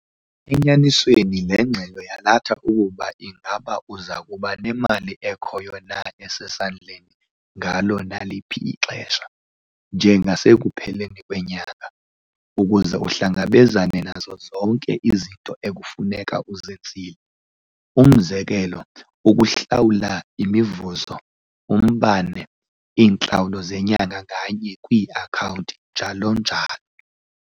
Enyanisweni le ngxelo yalatha ukuba ingaba uza kuba nemali ekhoyo na esesandleni ngalo naliphi ixesha, njengasekupheleni kwenyanga, ukuze uhlangabezane nazo zonke izinto ekufuneka uzenzile. Umzekelo ukuhlawula imivuzo, umbane, iintlawulo zenyanga nganye kwii-akhawunti njalo njalo.